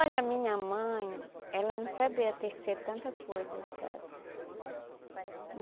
Olha, a minha mãe, ela não sabia tecer tanta coisa, sabe?